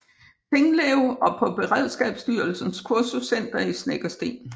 Tinglev og på Beredskabsstyrelsens Kursuscenter i Snekkersten